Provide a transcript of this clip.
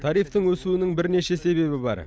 тарифтің өсуінің бірнеше себебі бар